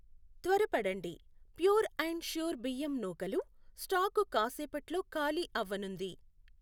త్వరపడండి, pure and sure బియ్యం నూకలు స్టాకు కాసేపట్లో ఖాళీ అవ్వనుంది.